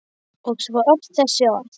Og svo öll þessi orð.